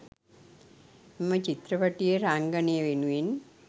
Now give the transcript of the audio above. එම චිත්‍රපටයේ රංගනය වෙනුවෙන්